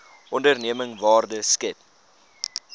onderneming waarde skep